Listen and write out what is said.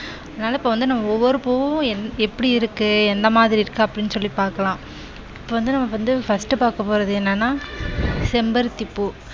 அதனால, இப்போ வந்து நம்ம ஒவ்வொரு பூ என்~எப்படி இருக்கு எந்த மாதிரி இருக்கு அப்படின்னு சொல்லி பார்க்கலாம். இப்போ வந்து நமக்கு வந்து first பாக்க போறது என்னன்னா செம்பருத்தி பூ.